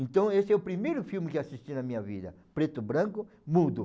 Então esse é o primeiro filme que assisti na minha vida, preto branco, mudo.